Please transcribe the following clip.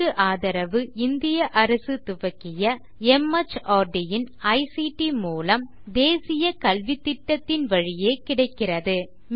இதற்கு ஆதரவு இந்திய அரசு துவக்கிய மார்ட் இன் ஐசிடி மூலம் தேசிய கல்வித்திட்டத்தின் வழியே கிடைக்கிறது